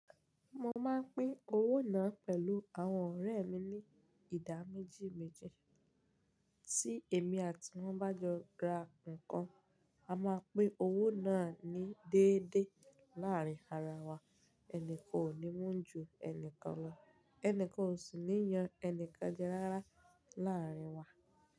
Mo máa ń pín owó náà pẹ̀lú àwọn ọ̀rẹ́ mi ní ìdá méjì méjì. Tí èmi àti wọn bá jọ ra nǹkan, a máa pín owó náà ní déédéé láàárín ara wa. Ẹnìkan ò ní mú ju ẹnìkan lọ, ẹni kan ò sì ní yan ẹni kan jẹ rárá láàárín wa.